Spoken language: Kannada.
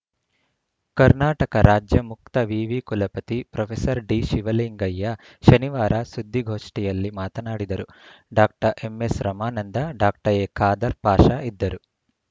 ಕರ್ನಾಟಕ ರಾಜ್ಯ ಮುಕ್ತ ವಿವಿ ಕುಲಪತಿ ಪ್ರೊಫೆಸರ್ ಡಿ ಶಿವಲಿಂಗಯ್ಯ ಶನಿವಾರ ಸುದ್ದಿಗೋಷ್ಠಿಯಲ್ಲಿ ಮಾತನಾಡಿದರು doctor MS Ramananda doctor A Khader Pasha ಇದ್ದರು